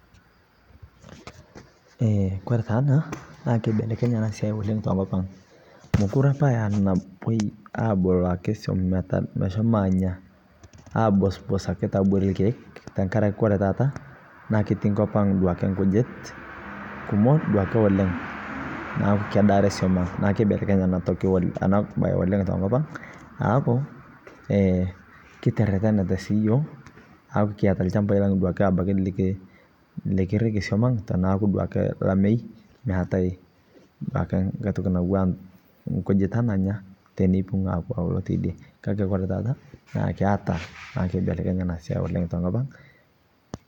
kore taa anaa naa keibelekenye oleng te nkopang mokure apa era napa napuoi aboloo ake suom meshomo anyaa abosbos ake taabori lkeek tankarake kore taata keti nkopang duake nkujit kumok duake oleng naaku kedaare suom ang naaku keibelekenye ana bai tenkopang aaku kiteretenete sii yooh aaku kiata lshampai lang duake likirikii suomang tanaaku lamei naatai duake nghai toki natuwaa nkujita nanyaa teneipung apuo aulo teidie kakee kore taata naa keibelekenyee naa siake tenkopang